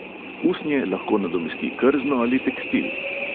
Usnje lahko nadomesti krzno ali tekstil.